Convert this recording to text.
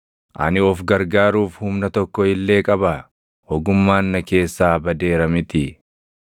Ani of gargaaruuf humna tokko illee qabaa? Ogummaan na keessaa badeera mitii?